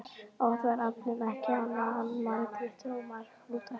Oft var aflinn ekki annað en marglyttur og marhnútar.